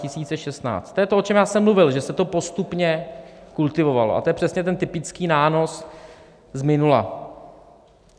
To je to, o čem já jsem mluvil, že se to postupně kultivovalo, a to je přesně ten typický nános z minula.